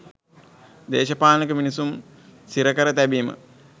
දේශපාලනික මිනිසුන් සිර කර තැබීම